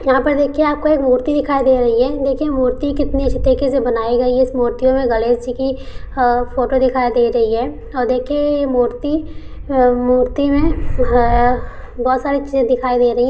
यहां पर देखिए आपको एक मूर्ति दिखाई दे रही हैदेखिए मूर्ति कितनीअच्छी बनाई गई है इस मूर्ति मे गणेश जी की अ फोटो दिखाई दे रही है और देखिए यह मूर्ति मूर्ति मे है बहोत सारी चीजे दिखाई दे रही है ।